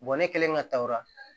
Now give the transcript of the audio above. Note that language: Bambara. ne kɛlen ka ta o la